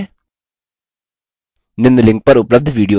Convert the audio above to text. निम्न link पर उपलब्ध video देखें